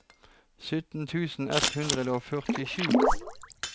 sytten tusen ett hundre og førtisju